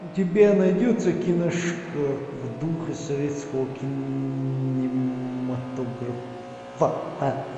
у тебя найдется киношка в духе советского кинематографа